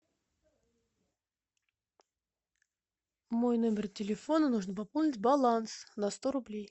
мой номер телефона нужно пополнить баланс на сто рублей